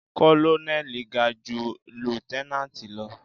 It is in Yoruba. Kọ́lọ́nẹ́lì ga ju líútẹ́nánátì lọ.